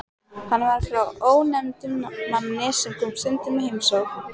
Hann var frá ónefndum manni sem kom stundum í heimsókn.